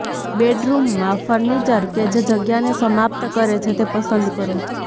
બેડરૂમમાં ફર્નિચર કે જે જગ્યાને સમાપ્ત કરે છે તે પસંદ કરો